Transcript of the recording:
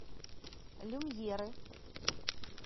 люмьеры